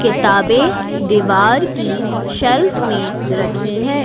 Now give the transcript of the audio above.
किताबें दीवार की सेल्फ में रखी है।